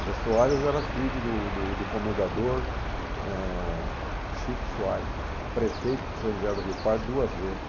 O Zé Soares era filho do do do comendador eh Chico Soares, eh, prefeito de São José do Rio Pardo duas vezes.